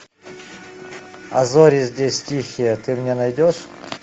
а зори здесь тихие ты мне найдешь